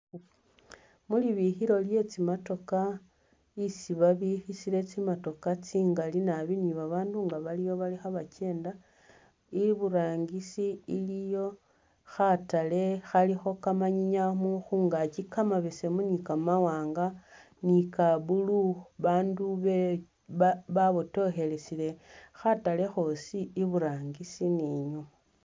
Mulibikilo lye tsi'motoka isi babikisile tsi'motoka tsingaali naabi ni babandu nga bali awo khebakyenda, iburangisi iliyo khataale khalikho kamanyinya khungakyi kamabeseemu ni kamawaanga ni ka blue abandu babotokhelesile khataale khosi iburangisi ni inyuma.